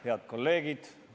Head kolleegid!